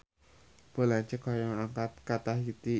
Pun lanceuk hoyong angkat ka Tahiti